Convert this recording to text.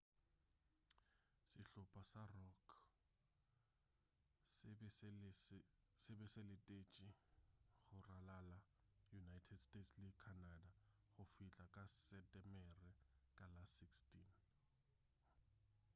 sehlopa sa rock se be se letetše go ralala united states le canada go fihla ka setemere ka la 16